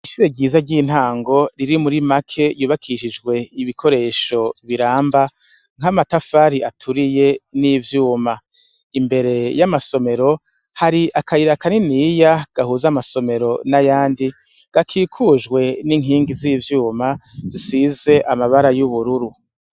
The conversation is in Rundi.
Ishure ryiza ry'intango riri muri make yubakishijwe ibikoresho biramba nk'amatafari aturiye n'ivyuma imbere y'amasomero hari akayira kaniniya gahuza amasomero n'ayandi gakikujwe n'inkingi z'ivyuma zisize amabara y'ubururu.